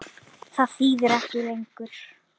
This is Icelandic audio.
Það þýðir ekki lengur.